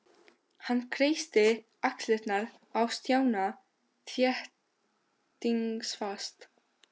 Hann kreisti axlirnar á Stjána þéttingsfast.